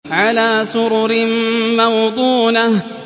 عَلَىٰ سُرُرٍ مَّوْضُونَةٍ